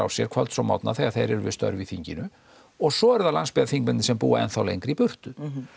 sér kvölds og morgna þegar þeir eru við störf í þinginu og svo eru það landsbyggðarþingmennirnir sem búa enn lengra í burtu